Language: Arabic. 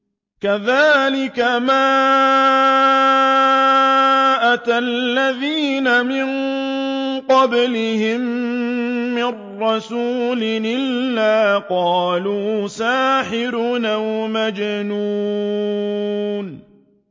كَذَٰلِكَ مَا أَتَى الَّذِينَ مِن قَبْلِهِم مِّن رَّسُولٍ إِلَّا قَالُوا سَاحِرٌ أَوْ مَجْنُونٌ